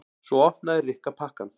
Svo opnaði Rikka pakkann.